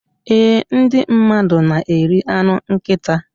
Ee, Ndị mmadụ na-eri anụ nkịta